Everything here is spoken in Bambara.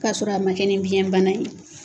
K'a sɔrɔ a ma kɛ ni biyɛn bana ye.